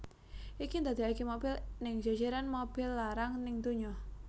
Iki ndadeake mobil ning jejeran mobil larang ning dunya